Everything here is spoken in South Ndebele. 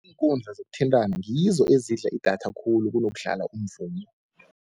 Iinkundla zokuthintana ngizo ezidla idatha khulu kunokudlala umvumo.